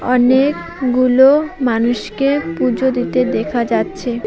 অনেকগুলো মানুষকে পূজো দিতে দেখা যাচ্ছে।